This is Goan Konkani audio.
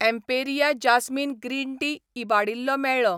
एम्पेरिया जास्मिन ग्रीन टी इबाडिल्लो मेळ्ळो.